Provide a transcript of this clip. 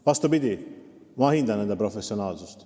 Vastupidi, ma hindan nende professionaalsust.